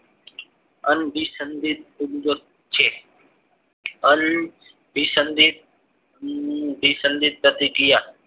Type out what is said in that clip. અંબીસંદિત છે અંબીસંદિતસંદિતપ્રતિક્રિયા